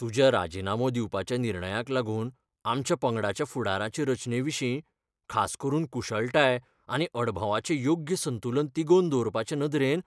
तुज्या राजिनामो दिवपाच्या निर्णयाक लागून आमच्या पंगडाच्या फुडाराचे रचनेविशीं, खास करून कुशळटाय आनी अणभवाचें योग्य संतुलन तिगोवन दवरपाचे नदरेन,